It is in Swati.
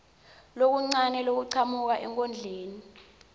lokuncane lokuchamuka enkondlweni